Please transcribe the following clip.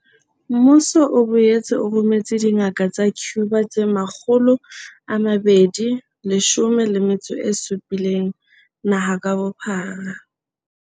Mmuso o boetse o rometse dingaka tsa Cuba tse 217 naha ka bophara.